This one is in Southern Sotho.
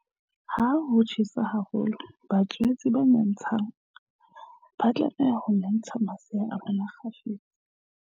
Ha ho tjhesa haholo, batswetse ba nyantshang ba tlameha ho nyantsha masea a bona kgafetsa.